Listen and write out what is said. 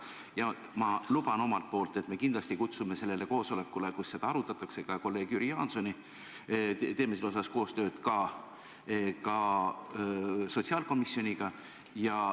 Ja ma luban omalt poolt, et me kindlasti kutsume sellele koosolekule, kus seda arutatakse, ka kolleeg Jüri Jaansoni, ning teeme selles koostööd ka sotsiaalkomisjoniga.